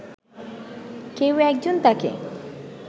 কেউ একজন তাঁকে